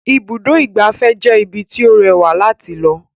Ibùdó ìgbafẹ́ jẹ́ ibí tí ó rẹwà láti lọ